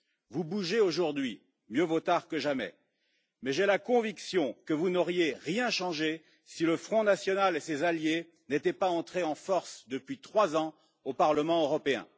Vous bougez aujourd'hui mieux vaut tard que jamais mais j'ai la conviction que vous n'auriez rien changé si le Front national et ses alliés n'étaient pas entrés en force, depuis trois ans, au Parlement européen.